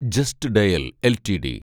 just dial LTD